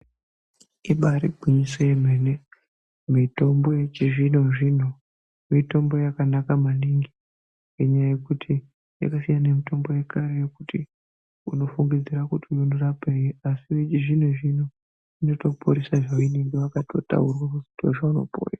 Ibaari gwinyiso remene-mene, kuti mitombo yechizvino-zvino mitombo yakanaka maningi. Ngenyaya yekuti yakasiyana nemitombo yekare yekuti unofungidzira kuti unorapei, asi yechizvino-zvino inotoporesa zvaunenge wakatotaurwa kuzwi qndoo zvaunopora.